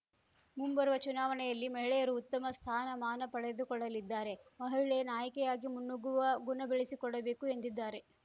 ಮುಂಬರುವ ಚುನಾವಣೆಯಲ್ಲಿ ಮಹಿಳೆಯರು ಉತ್ತಮ ಸ್ಥಾನಮಾನ ಪಡೆದುಕೊಳ್ಳಲಿದ್ದಾರೆ ಮಹಿಳೆ ನಾಯಕಿಯಾಗಿ ಮುನ್ನುಗ್ಗುವ ಗುಣಬೆಳೆಸಿಕೊಳ್ಳಬೇಕು ಎಂದಿದ್ದಾರೆ